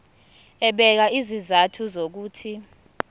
ebeka izizathu zokuthi